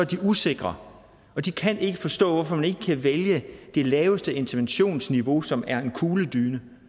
dem usikre de kan ikke forstå hvorfor man ikke kan vælge det laveste interventionsniveau som er en kugledyne